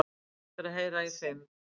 Eftir að heyra í fimm